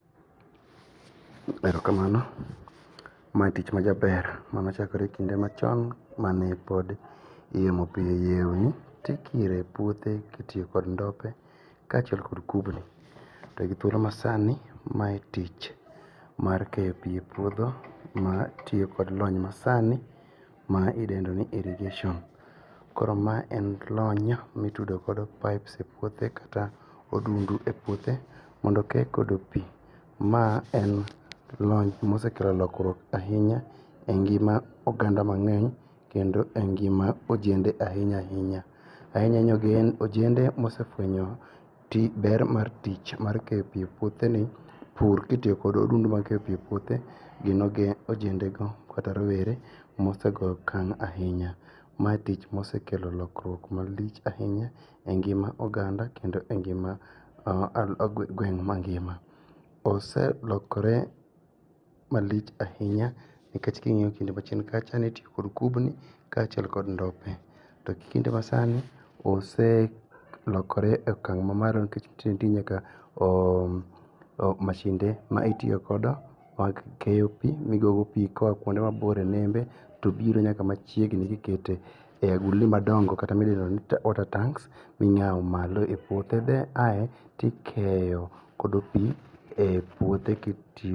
Erokamano. Ma tich majaber manochakore kinde machon mane pod yiemo piny yieuni tikire puothe kitiyo kod ndope kachiel kod kubni. To githuolo masani mae tich mar keyo pii e puodho ma tiyo kod lony masani ma idendoni irrigation. Koro ma en lony mitudo kodo pipes e puothe kata odundu e puothe mondo kee kod pii. Ma en lony mosekelo lokruok ainya e ngima oganda mang'eny kendo e ngima ojende ainy ainya. Ainya ainya ojende mosefuenyo ber mar tich mar keyo pii e puotheni pur kitiyo kod odundu ma keyo pii e puothe gin ojendego kata rowere mosego akang' ainya. Mae tich mosekelo lokruok malich ainya e ngima oganda kendo e ngima gweng' mangima. Oselokore malich ainya nikech king'iyo kinde machien kacha nitio kod kubni kachiel kod ndope. To kinde masani, oselokore e akang' mamalo nikech itiyogi nyaka mashinde maitiokodo mag keyo pii miyuago pii koa kuonde mabor e nende to biro nyaka machiegni gikete agulni madongo kata midendoni water tanks ing'ao malo e puothe ae tikeyo kodo pii e puothe kiti